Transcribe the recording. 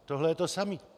Tohle je to samé.